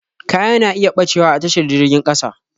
Kaya na iya ɓacewa a tashar jirgin ƙasa